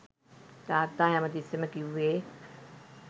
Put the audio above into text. තාත්තා හැම තිස්සෙම කිව්වේ